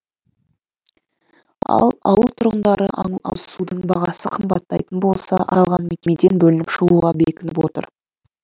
ал ауыл тұрғындары ауызсудың бағасы қымбаттайтын болса аталған мекемеден бөлініп шығуға бекініп отыр